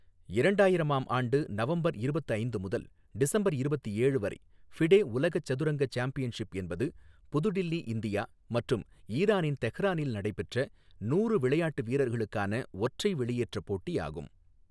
இரண்டாயிரமாம் ஆண்டு நவம்பர் இருபத்து ஐந்து முதல் டிசம்பர் இருபத்து ஏழு வரை ஃபிடே உலக சதுரங்க சாம்பியன்ஷிப் என்பது புது தில்லி, இந்தியா மற்றும் ஈரானின் தெஹ்ரானில் நடைபெற்ற நூறு விளையாட்டு வீரர்களுக்கான ஒற்றை வெளியேற்ற போட்டியாகும்.